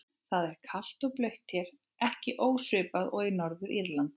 Það er kalt og blautt hér, ekki ósvipað og í Norður-Írlandi.